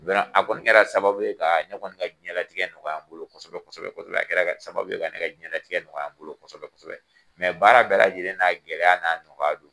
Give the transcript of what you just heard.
Mɛ a kɔni kɛra sababu ye ka ne kɔni ka diɲɛlatigɛ nɔgɔya n bolo kosɛbɛ kosɛbɛ, a kɛra sababu ye ka ne ka diɲɛlatigɛ nɔgɔya n bolo kosɛbɛ kosɛbɛ mɛ baara bɛɛ lajɛlen n'a gɛlɛya n'a nɔgɔya don.